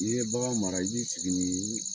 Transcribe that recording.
I ye bagan mara i b'i sigi ni